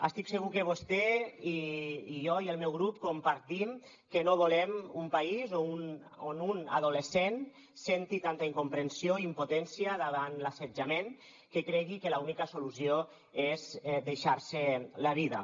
estic segur que vostè i jo i el meu grup compartim que no volem un país on un adolescent senti tanta incomprensió i impotència davant l’assetjament que cregui que l’única solució és deixar s’hi la vida